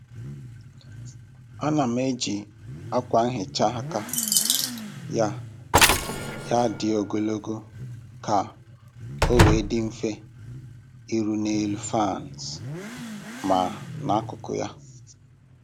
A na m eji akwa nhicha aka ya ya dị ogologo ka o wee dị mfe iru n'elu faans ma n'akụkụ ya